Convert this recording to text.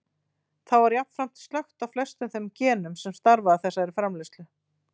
Þá er jafnframt slökkt á flestum þeim genum sem starfa að þessari framleiðslu.